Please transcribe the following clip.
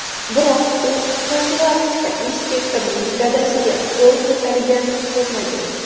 Biroq u profilaktika inspektorining dadasiga qo‘l ko‘targanini ko‘rmagan.